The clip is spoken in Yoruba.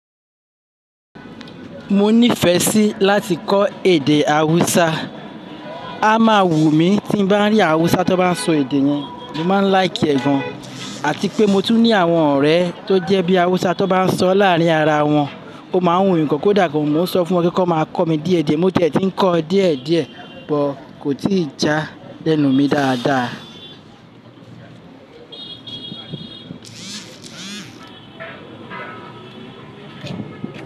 Mo nífẹ̀ẹ́ sí láti kọ́ èdè Hausa. A máa wù lmí tí bá ń rí Hausa tó bá ń sọ èdè yẹn. Mo má ń láìkì ẹ̀ gan, àti pé mo tún ní àwọn ọ̀rẹ́ tó jẹ́ bíi Hausa tó bá ń sọ láàrín ara wọn, ó máa ń wùmí gán kò dá gán. Mo ń sọ fún wọn pe kí wọ́n máa kọ́ mi díẹ̀díẹ̀. Mo tẹ̀ tí ń kọ́ ọ díẹ̀díẹ̀, bọ kò tíi já lẹ́nu mi dáadáa.